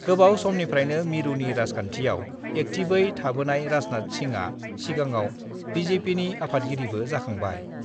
गोबाव समनिफ्रायनो मिरुनि राजखान्थियाव एक्टिभयै थाबोनाय राजनाथ सिंहआ सिगाङाव बिजेपिनि आफादगिरिबो जाखांबाय।